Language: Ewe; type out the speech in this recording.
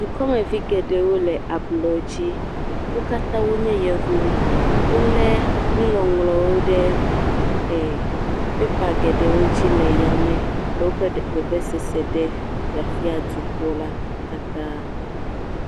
Dukɔmevi geɖewo le ablɔdzi, wo katã wonye yevu, wolé nuŋɔŋlɔwo ɖe pepa geɖewo dzi le yame le woƒe vevesese ɖe fiafia dukɔ la katã.